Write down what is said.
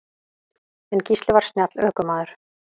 En Gísli var snjall ökumaður.